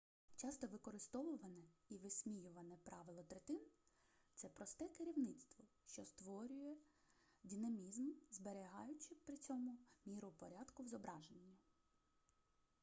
часто використовуване і висміюване правило третин це просте керівництво що створює динамізм зберігаючи при цьому міру порядку в зображенні